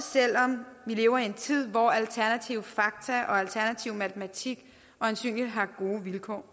lever i en tid hvor alternative fakta og alternativ matematik øjensynlig har gode vilkår